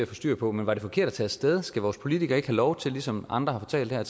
få styr på men var det forkert at tage af sted skal vores politikere ikke have lov til ligesom andre har fortalt her at